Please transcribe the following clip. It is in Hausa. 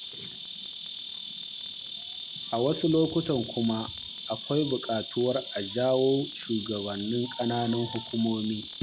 A wasu lokutan kuma akwai buƙatar a jawo shugabannin ƙananan hukumomi.